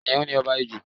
Kiniun ni ọba ijù